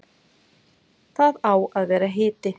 Það á að vera hiti.